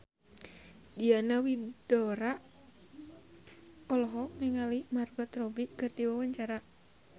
Diana Widoera olohok ningali Margot Robbie keur diwawancara